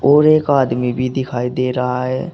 और एक आदमी भी दिखाई दे रहा है।